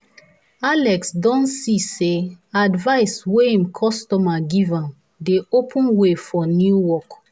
alex don see say advice wey him customer give am dey open way for new work.